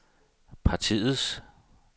partiets